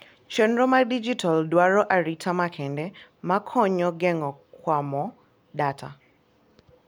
chenro mar dijital dwaro arita makende mar konyo geng'o kuwomar data